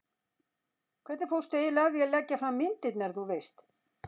hvernig fórstu eiginlega að því að leggja fram myndirnar, þú veist.